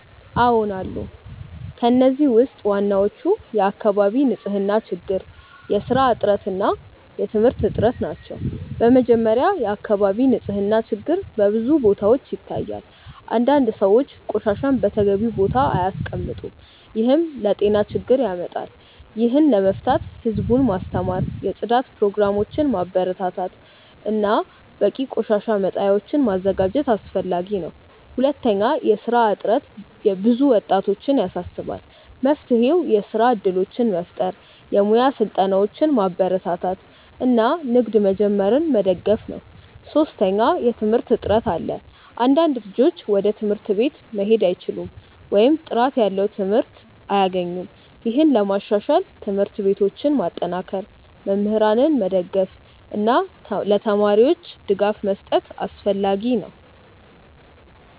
አዎን አሉ። ከእነዚህ ውስጥ ዋናዎቹ የአካባቢ ንፅህና ችግር፣ የስራ እጥረት እና የትምህርት እጥረት ናቸው። በመጀመሪያ፣ የአካባቢ ንፅህና ችግር በብዙ ቦታዎች ይታያል። አንዳንድ ሰዎች ቆሻሻን በተገቢው ቦታ አያስቀምጡም፣ ይህም ለጤና ችግር ያመጣል። ይህን ለመፍታት ህዝቡን ማስተማር፣ የጽዳት ፕሮግራሞችን ማበረታታት እና በቂ የቆሻሻ መጣያዎችን ማዘጋጀት አስፈላጊ ነው። ሁለተኛ፣ የስራ እጥረት ብዙ ወጣቶችን ያሳስባል። መፍትሄው የስራ እድሎችን መፍጠር፣ የሙያ ስልጠናዎችን ማበረታታት እና ንግድ መጀመርን መደገፍ ነው። ሶስተኛ፣ የትምህርት እጥረት አለ። አንዳንድ ልጆች ወደ ትምህርት ቤት መሄድ አይችሉም ወይም ጥራት ያለው ትምህርት አያገኙም። ይህን ለማሻሻል ትምህርት ቤቶችን ማጠናከር፣ መምህራንን መደገፍ እና ለተማሪዎች ድጋፍ መስጠት አስፈላጊ ነው።